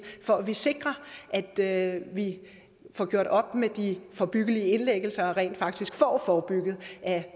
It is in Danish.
for at vi sikrer at vi får gjort op med de forebyggelige indlæggelser og rent faktisk får forebygget at